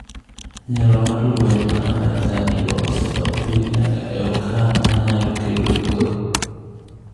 Nyalo mar lweny ma Amerka nigo osedok piny nyaka e okang’ ma nyalo kelo luoro.